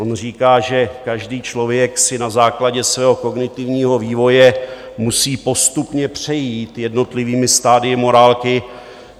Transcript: On říká, že každý člověk si na základě svého kognitivního vývoje musí postupně přejít jednotlivými stadii morálky.